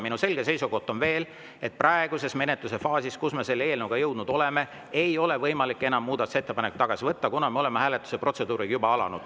Minu selge seisukoht on, et praeguses menetlusfaasis, kuhu me selle eelnõuga jõudnud oleme, ei ole enam võimalik muudatusettepanekuid tagasi võtta, kuna me oleme hääletuse protseduuri juba alustanud.